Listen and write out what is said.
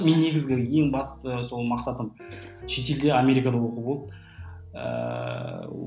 мен негізгі ең басты сол мақсатым шетелде америкада оқу болды ыыы